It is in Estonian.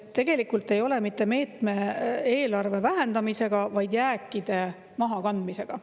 Tegemist ei ole mitte meetme eelarve vähendamisega, vaid jääkide mahakandmisega.